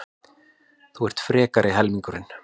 Þú ert frekari helmingurinn.